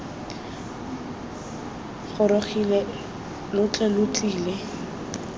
gorogile lo tle lo tlile